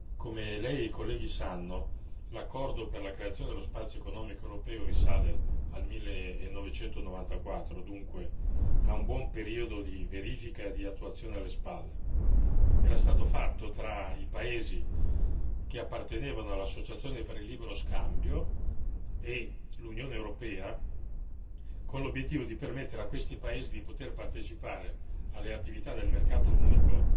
Come Lei e i colleghi sanno, l'accordo per la creazione dello spazio economico europeo risale al 1994, dunque, ha un buon periodo di verifica di attuazione alle spalle. Era stato fatto, tra i paesi che appartenevano all'associazione per il libero scambio e l'Unione europea, con l'obiettivo di permettere a questi paesi di poter partecipare alle attività del mercato unico